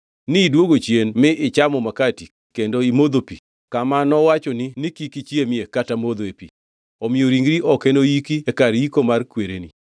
Nidwogo chien mi ichamo makati kendo imodho pi kama nowachoni ni kik ichiemie kata modhoe pi. Omiyo ringri ok enoyiki e kar yiko mar kwereni.’ ”